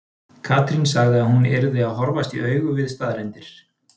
Katrín sagði að hún yrði að horfast í augu við staðreyndir.